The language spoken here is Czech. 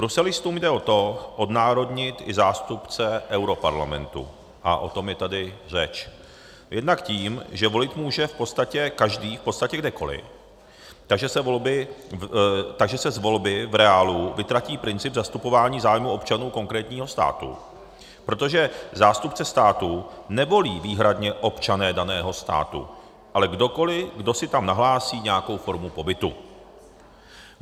Bruselistům jde o to odnárodnit i zástupce europarlamentu - a o tom je tady řeč - jednak tím, že volit může v podstatě každý v podstatě kdekoliv, takže se z volby v reálu vytratí princip zastupování zájmů občanů konkrétního státu, protože zástupce státu nevolí výhradně občané daného státu, ale kdokoliv, kdo si tam nahlásí nějakou formu pobytu.